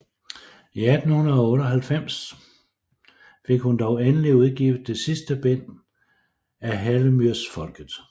I 1898 fik hun dog endelig udgivet det sidste bind af Hellemyrsfolket